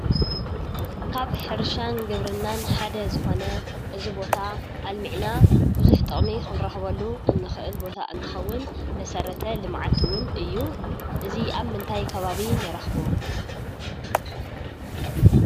ካብ ሕርሻን ግብርናን ሓደ ዝኾነ እዚ ቦታ ኣልሚዕና ብዙሕ ጥቅሚ ክንረክበሉ እንክእል ቦታ እንትከውን መሰረተ ልምዓት እውን እዩ፡፡ ኣዚ ኣብ ምንታይ ከባቢ ንረክቦ?